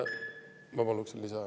Ma paluksin lisaaega.